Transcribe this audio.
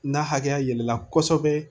N'a hakɛya yɛlɛla kosɛbɛ